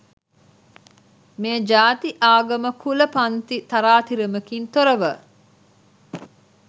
මෙය ජාති, ආගම, කුල, පන්ති තරාතිරමකින් තොරව